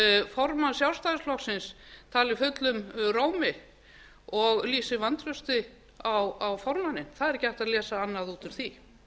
formanns sjálfstæðisflokksins tali fullum rómi og lýsi vantrausti á formanninn það er ekki hægt að lesa annað út úr því